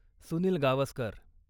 Sunil Gavaskar